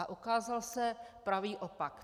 A ukázal se pravý opak.